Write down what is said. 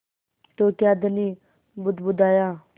तो क्या धनी बुदबुदाया